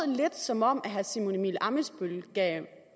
lidt som om herre simon emil ammitzbøll gav